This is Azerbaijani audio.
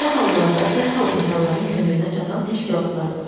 Belə hallarda dərhal insanların köməyinə çatan təşkilatlar var.